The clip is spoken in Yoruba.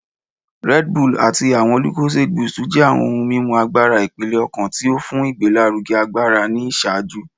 Red Bull ati awọn lucozade boost jẹ awọn ohun mimu agbara ipele-ọkan ti o fun igbelaruge agbara ni iṣaaju